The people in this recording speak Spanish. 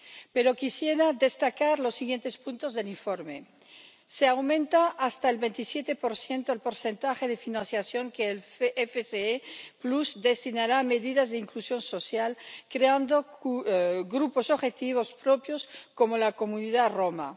Pero quisiera destacar los siguientes puntos del informe. Se aumenta hasta el 27 el porcentaje de financiación que el FSE destinará a medidas de inclusión social, creando grupos objetivos propios como la comunidad Roma.